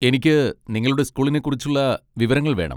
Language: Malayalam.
എനിക്ക് നിങ്ങളുടെ സ്കൂളിനെ കുറിച്ചുള്ള വിവരങ്ങൾ വേണം.